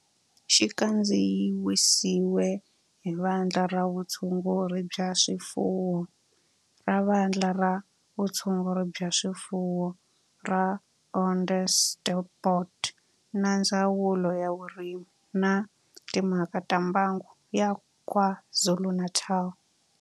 Xi kandziyisiwe hi Vandla ra Vutshunguri bya swifuwo ra Vandla ra Vutshunguri bya swifuwo ra Onderstepoort na Ndzawulo ya Vurimi na Timhaka ta Mbango ya KwaZulu-Natal